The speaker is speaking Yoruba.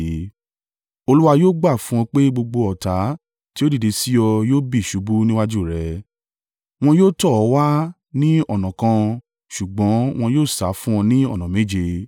Olúwa yóò gbà fún ọ pé gbogbo ọ̀tá tí ó dìde sí ọ yóò bì ṣubú níwájú rẹ. Wọn yóò tọ̀ ọ́ wá ní ọ̀nà kan ṣùgbọ́n wọn yóò sá fún ọ ní ọ̀nà méje.